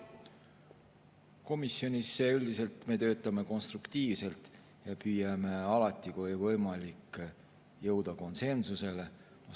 Komisjonis me üldiselt töötame konstruktiivselt, püüame alati, kui on võimalik, jõuda konsensusele.